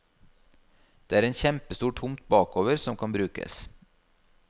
Det er en kjempestor tomt bakover som kan brukes.